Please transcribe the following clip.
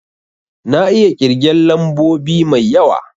Na iya kirgen lambobi mai yawa